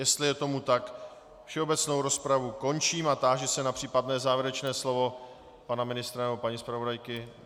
Jestli je tomu tak, všeobecnou rozpravu končím a táži se na případné závěrečné slovo pana ministra nebo paní zpravodajky.